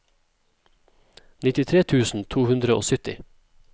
nittitre tusen to hundre og sytti